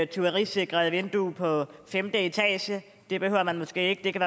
tyverisikret vindue på femte etage det behøver man måske ikke det kan